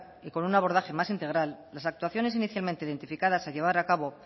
y con un abordaje más integral las actuaciones inicialmente identificadas a llevar a cabo